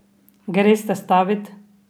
Greste stavit?